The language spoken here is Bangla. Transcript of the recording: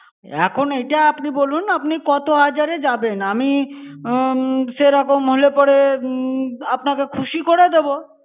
এখন এইটা আপনি বলুন আপনি কত হাজারে যাবেন। আমি উম সেরকম হলে পরে উম আপনাকে খুশি করে দেব।